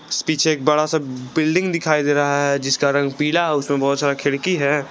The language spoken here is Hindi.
पीछे एक बड़ा सा बिल्डिंग दिखाई दे रहा है जिसका रंग पीला है उसमें बहुत सारा खिड़की है।